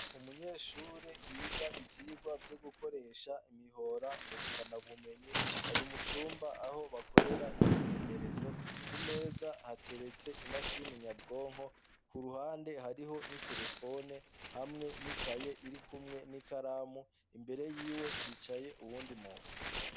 Umunyeshure yiga ibyigwa byo gukoresha imihora ngo rukana bumenyi ari mucumba aho bakorera imyimenyerezo kumeza hateretse imashini nyabwonko ku ruhande hariho n'iterefone hamwe n'ikaye iri kumwe n'ikaramu imbere y'iwe hicaye uwundi muntu.